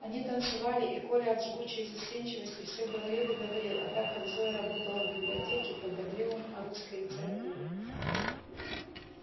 они танцевали и коля от жгучей застенчивости все говорил и говорил а так как зоя работала в библиотеке то говорил он о русской литературе